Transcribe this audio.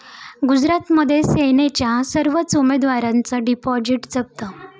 गुजरातमध्ये सेनेच्या सर्वच उमेदवारांचं डिपॉझिट जप्त